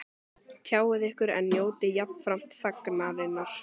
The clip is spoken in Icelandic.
Tjáið ykkur en njótið jafnframt þagnarinnar